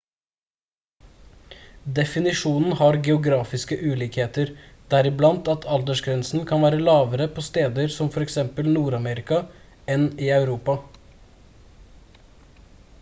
definisjonen har geografiske ulikheter deriblant at aldersgrensen kan være lavere på steder som for eksempel nord-amerika enn i europa